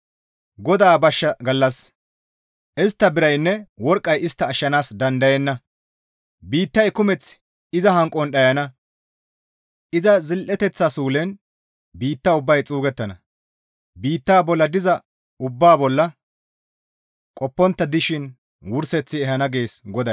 GODAA bashsha gallas istta biraynne worqqay istta ashshanaas dandayenna. Biittay kumeth iza hanqon dhayana; iza zil7eteththa suulen biitta ubbay xuugettana; biitta bolla diza ubbaa bolla qoppontta dishin wurseth ehana» gees GODAY.